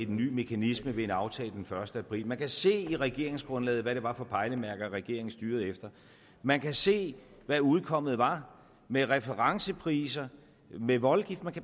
ny mekanisme med en aftale den første april man kan se i regeringsgrundlaget hvad det var for pejlemærker regeringen styrede efter man kan se hvad udkommet var med referencepriser med voldgift